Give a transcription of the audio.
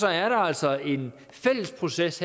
er der altså en fælles proces